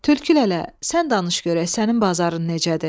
Tülkü lələ, sən danış görək, sənin bazarın necədir?